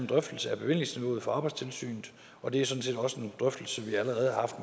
drøftelse af bevillingsniveauet for arbejdstilsynet og det er sådan set også en drøftelse vi allerede har haft